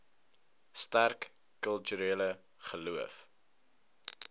sterk kulturele geloof